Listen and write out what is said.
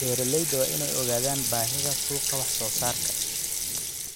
Beeralayda waa in ay ogaadaan baahida suuqa wax soo saarka.